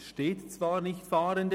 Es steht zwar nicht «Fahrende»;